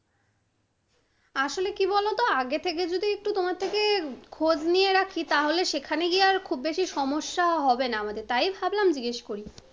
আসলে কি বলতো? আগের থেকে যদি একটু তোমার থেকে খোজ নিয়ে রাখি, তাহলে সেখানে গিয়ে আর খুব বেশি সমস্যা হবে না মানে তাই ভাবলাম জিজ্ঞেস করি